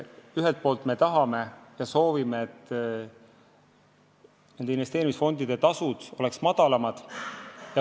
Ühelt poolt me tahame ja soovime, et investeerimisfondide tasud oleks madalamad.